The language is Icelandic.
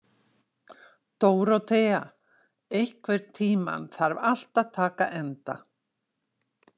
Dórótea, einhvern tímann þarf allt að taka enda.